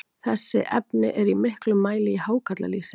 þessi efni eru í miklum mæli í hákarlalýsi